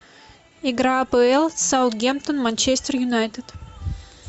игра апл саутгемптон манчестер юнайтед